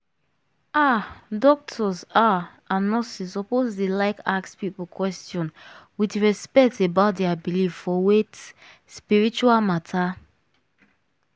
ah! doctors ah and nurses suppose dey like ask people question with respect about dia believe for wait - spiritual matter.